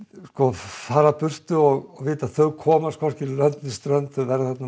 fara burt og vita að þau komast hvorki lönd né strönd þau verða þarna